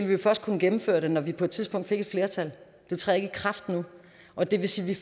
vi først kunne gennemføre det når vi på et tidspunkt fik et flertal det træder ikke i kraft nu og det vil sige